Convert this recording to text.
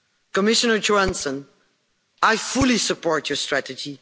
Commissioner Johansson, I fully support your strategy.